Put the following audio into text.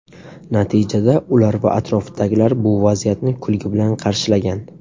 Natijada ular va atrofdagilar bu vaziyatni kulgi bilan qarshilgan.